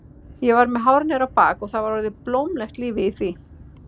Ég var með hár niður á bak og það var orðið blómlegt lífið í því.